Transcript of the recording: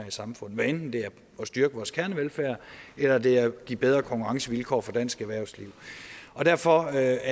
i samfundet hvad enten det er at styrke vores kernevelfærd eller det er at give bedre konkurrencevilkår for dansk erhvervsliv derfor er